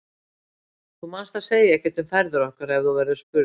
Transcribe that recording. Þú manst að segja ekkert um ferðir okkar ef þú verður spurður.